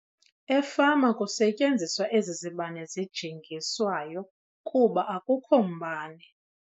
Efama kusetyenziswa ezi zibane zijingiswayo kuba akukho mbane.